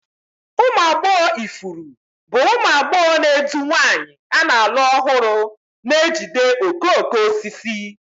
Ụmụ agbọghọ ifuru bụ ụmụ agbọghọ na-edu nwanyị a na-alụ ọhụrụ na-ejide okooko osisi.